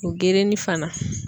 O gerenin fana.